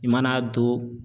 I mana don